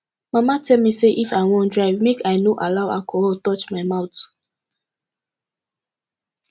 mama tell me say if i wan drive make i no allow alcohol touch my mouth